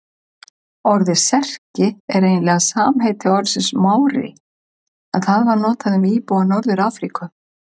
Orðið Serki er eiginlega samheiti orðsins Mári en það var notað um íbúa Norður-Afríku.